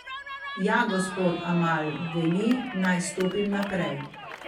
Ja, gospod Amal veli, naj stopim naprej.